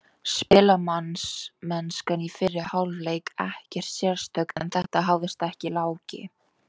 Spilamennskan í fyrri hálfleik ekkert sérstök, en þetta hafðist, sagði Láki.